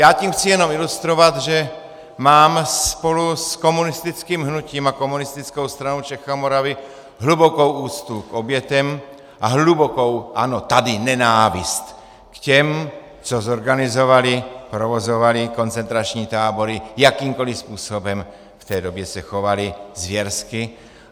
Já tím chci jenom ilustrovat, že mám spolu s komunistickým hnutím a Komunistickou stranou Čech a Moravy hlubokou úctu k obětem a hlubokou, ano, tady nenávist k těm, co zorganizovali, provozovali koncentrační tábory jakýmkoli způsobem, v té době se chovali zvěrsky.